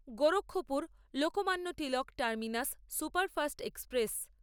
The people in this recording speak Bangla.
Gorakhpur Lokmanya Tilak terminus superfast express